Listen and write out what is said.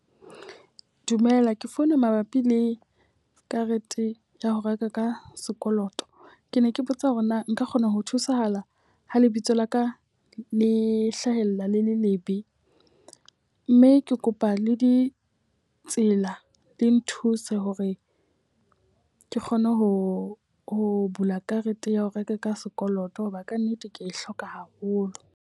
Dumela, ke founa mabapi le karete ya ho reka ka sekoloto. Ke ne ke botsa hore na nka kgona ho thusahala ho lebitso la ka le hlahella le le lebe? Mme ke kopa le ditsela di nthuse hore ke kgone ho ho bula karete ya ho reka ka sekoloto hoba ka nnete ke a e hloka haholo.